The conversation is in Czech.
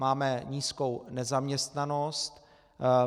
Máme nízkou nezaměstnanost.